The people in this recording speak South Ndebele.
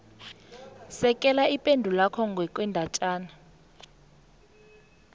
sekela ipendulwakho ngokwendatjana